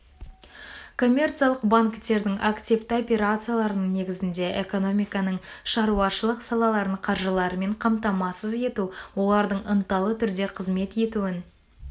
коммерциялық банктердің активті операцияларының негізінде экономиканың шаруашылық салаларын қаржылармен қамтамасыз ету олардың ынталы түрде қызмет етуін